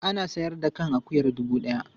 Ana sayar da kan akuyar dubu ɗaya.